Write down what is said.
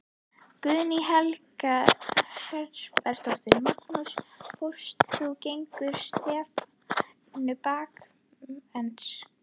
Guðný Helga Herbertsdóttir: Magnús fórst þú gegn stefnu bankans?